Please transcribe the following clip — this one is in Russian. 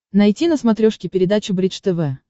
найти на смотрешке передачу бридж тв